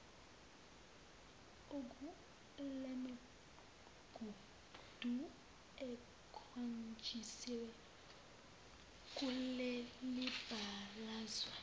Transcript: kulemigudu ekhonjisiwe kulelibalazwe